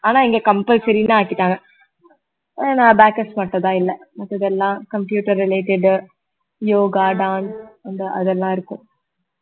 ஆனா இங்க compulsory ன்னு ஆக்கிட்டாங்க அஹ் நான் backups மட்டும் தான் இல்ல மத்தது எல்லாம் computer related யோகா dance அந்த அதெல்லாம் இருக்கும்